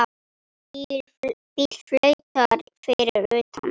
Bíll flautar fyrir utan.